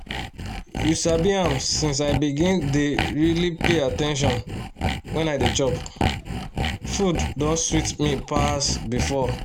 you sabi am since i begin dey really pay at ten tion when i dey chop food don sweet me pass before